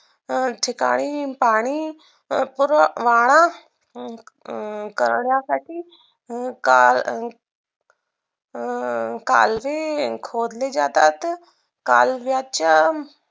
ठिकाणी पाणी पूर्व वारा अं करण्यासाठी अं काळ अं कालवे खोदले जातात कालव्याच्या